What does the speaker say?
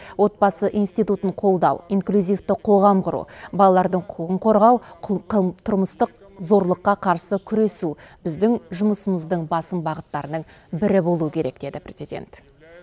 отбасы институтын қолдау инклюзивті қоғам құру балалардың құқығын қорғау тұрмыстық зорлыққа қарсы күресу біздің жұмысымыздың басым бағыттарының бірі болуы керек деді президент